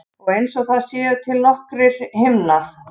Og einsog það séu til nokkrir himnar.